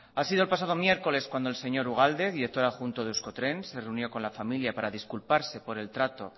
ha sido el pasado miércoles cuando el señor ugalde director adjunto de euskotren se reunió con la familia para disculparse por el trato